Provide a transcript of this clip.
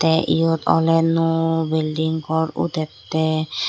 te yot ole nuo bilding gor udette.